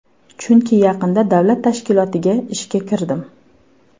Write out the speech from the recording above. Chunki yaqinda davlat tashkilotiga ishga kirdim.